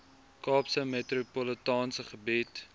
kaapse metropolitaanse gebied